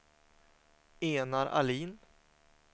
Enar Ahlin